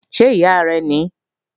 Ṣé ìyá rẹ́ ní?